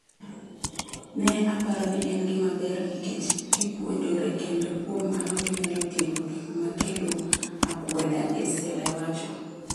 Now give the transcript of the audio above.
Ne aparo ni en gima ber, nikech gipuonjore, kendo kuom mano ginyalo tieko gik ma kelo akwede,,” Estelle wacho.